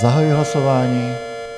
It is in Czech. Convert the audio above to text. Zahajuji hlasování.